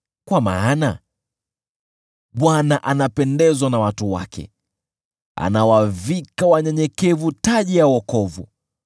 Kwa maana Bwana anapendezwa na watu wake, anawavika wanyenyekevu taji ya wokovu.